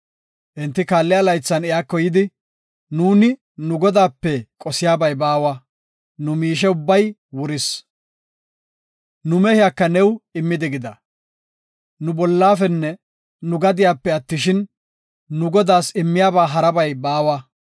Enti kaalliya laythan iyako yidi “Nuuni nu godaape qosiyabay baawa; nu miishey ubbay wuris. Nu mehiyaka new immi diggida. Nu bollafenne nu gadiyape attishin, nu godaas immanabay harabay baawa.